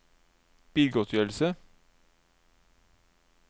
bilgodtgjørelse